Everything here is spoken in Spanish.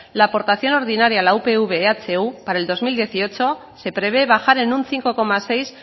la aportación ordinaria a la upv ehu para el dos mil dieciocho se prevé bajar en un cinco coma seis